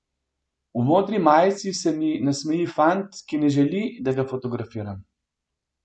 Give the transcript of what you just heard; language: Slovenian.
V modri majici se mi nasmeji fant, ki ne želi, da ga fotografiram.